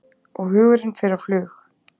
Og hugurinn fer á flug.